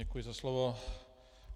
Děkuji za slovo.